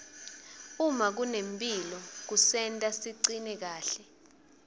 uma kunemphilo kusenta sicine kahle